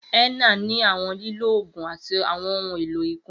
Henna ni awọn lilo oogun ati awọn ohun elo ikunra.